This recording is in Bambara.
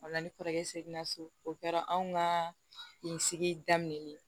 O la ni kɔrɔkɛ seginna so o kɛra anw ka nin sigi daminɛ ni ye